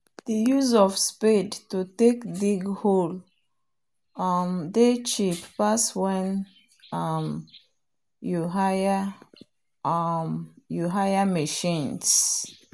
the use of spade to take dig hole um dey cheap pass when um you hire um machines.